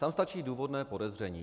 Tam stačí důvodné podezření.